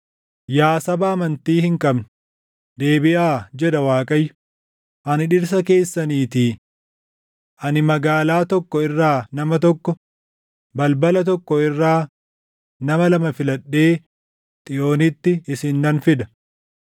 “Yaa saba amantii hin qabne, deebiʼaa” jedha Waaqayyo; “ani dhirsa keessaniitii. Ani magaalaa tokko irraa nama tokko, balbala tokko irraa nama lama filadhee Xiyoonitti isin nan fida.